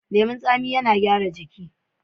Leman tsami yana gyara ciki.